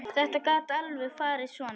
Þetta gat alveg farið svona.